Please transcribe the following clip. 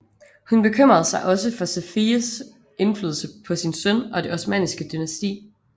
Hun bekymrede sig også for Safiyes indflydelse på sin søn og det osmanniske dynasti